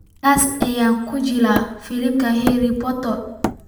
Kaas oo ku jilay filimka Harry Potter